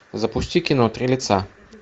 запусти кино три лица